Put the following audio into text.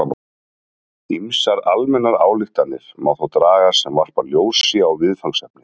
Ýmsar almennar ályktanir má þó draga sem varpa ljósi á viðfangsefnið.